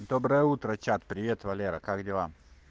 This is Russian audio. доброе утро чат привет валера как дела